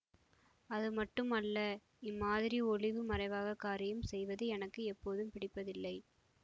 அதுமட்டும் அல்ல இம்மாதிரி ஒளிவு மறைவாக காரியம் செய்வது எனக்கு எப்போதும் பிடிப்பதில்லை